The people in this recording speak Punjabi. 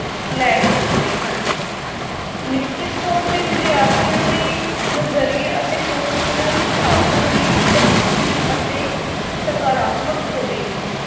ਲੈ ਸਕਦੇ ਹਨ ਨਿਸ਼ਚਿਤ ਤੌਰ 'ਤੇ ਵਿਦਿਆਰਥੀਆਂ ਦੇ ਨਜ਼ਰੀਏ ਅਤੇ ਪਹੁੰਚ ਇਹਨਾਂ ਦੀ ਸਾਧਨਾਂ ਦੀ ਪ੍ਰਤੀ ਅਤੇ ਸਕਾਰਤਮਕ ਹੋਵੇਗੀ।